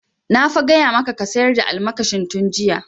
Na fa gaya maka ka sayar da almakashin tun jiya!